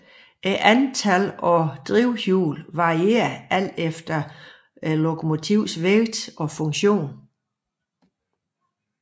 Antallet af drivhjul varier alt efter lokomotivets vægt og funktion